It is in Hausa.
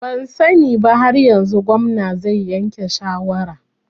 Ban sani ba har yanzu, gwamnan zai yanke shawarar